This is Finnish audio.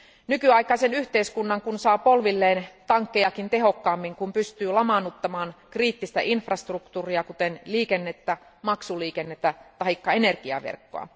Nykyaikaisen yhteiskunnan kun saa polvilleen tankkejakin tehokkaammin, kun pystyy lamaannuttamaan kriittistä infrastruktuuria kuten liikennettä, maksuliikennettä taikka energiaverkkoa.